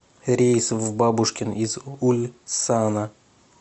рейс в бабушкин из ульсана